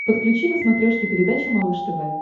подключи на смотрешке передачу малыш тв